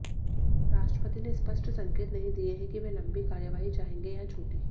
राष्ट्रपति ने स्पष्ट संकेत नहीं दिए हैं कि वे लंबी कार्यवाही चाहेंगे या छोटी